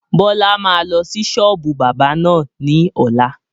Bọlá máa lọ sí sọ́ọ́bù báábà náà ni ọ̀la